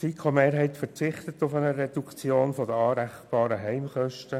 Die FiKo-Mehrheit verzichtet auf eine Reduktion der anrechenbaren Heimkosten.